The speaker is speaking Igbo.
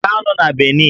Ị ga-anọ na Benin?